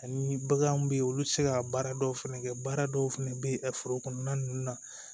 Ani baganw bɛ yen olu tɛ se ka baara dɔw fɛnɛ kɛ baara dɔw fɛnɛ bɛ foro kɔnɔna ninnu na